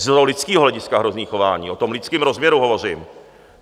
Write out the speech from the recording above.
Z lidského hlediska hrozné chování, o tom lidském rozměru hovořím.